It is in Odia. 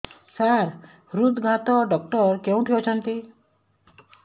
ସାର ହୃଦଘାତ ଡକ୍ଟର କେଉଁଠି ଅଛନ୍ତି